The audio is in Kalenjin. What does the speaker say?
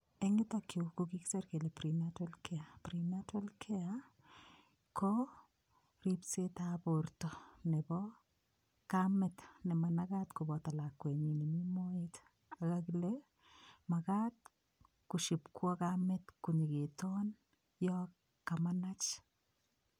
En yutok yu ko kigisir kele prenatal care. Prenatal care ko rispsetab borto nebo kamet ne managat koboto lakwenyin nemi moet. Kagile magat koshipkwo kamet konyokitoon yon kamanach.